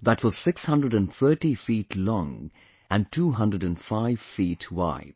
that was 630 feet long and 205 feet wide